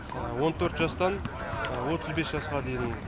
он төрт жастан отыз бес жасқа дейін